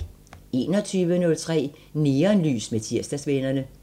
21:03: Neonlys med Tirsdagsvennerne